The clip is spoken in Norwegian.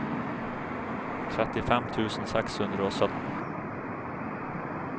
trettifem tusen seks hundre og sytten